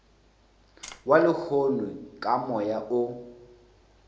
wa lehono ka moya o